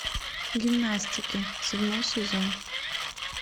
гимнастки седьмой сезон